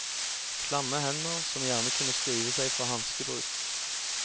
Klamme hender, som gjerne kunne skrive seg fra hanskebruk.